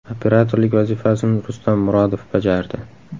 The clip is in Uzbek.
Operatorlik vazifasini Rustam Murodov bajardi.